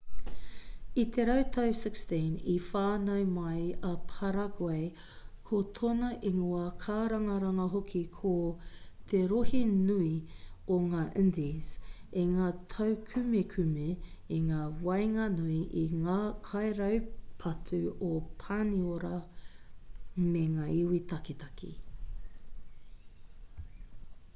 i te rautau 16 i whānau mai a paraguay ko tōna ingoa kārangaranga hoki ko te rohe nui o ngā indies i ngā taukumekume i ngā waenganui i ngā kairaupatu o pāniora me ngā iwi taketake